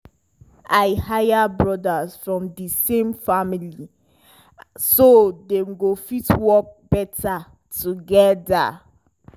i hire brothers from di same family so dem go fit work better together.